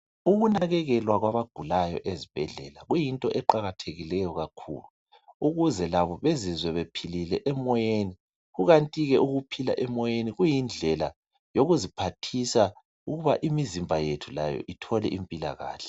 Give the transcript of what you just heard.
Ukunakekelwa kwabagulayo ezibhedlela kuyinto eqakatheke kakhulu ukuze labo bezizwe bephilile emoyeni kukanti ukuphila emoyeni kuyindlela yokuziphathisa imizimba yethu layo ithole impilakahle